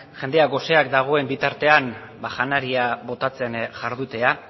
jendea goseak dagoen bitartean janaria botatzen jardutea